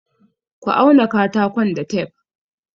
Ka auna katakon da tef!